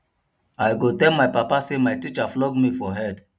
i go tell my papa say my teacher flog me for head